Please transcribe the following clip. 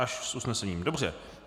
Až s usnesením, dobře.